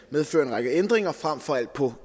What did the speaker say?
medføre en række ændringer frem for alt på